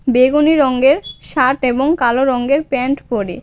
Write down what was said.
বেগুনি রংয়ের শার্ট এবং কালো রঙ্গের প্যান্ট পড়ে.